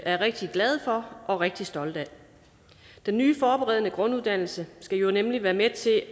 er rigtig glade for og rigtig stolte af den nye forberedende grunduddannelse skal jo nemlig være med til at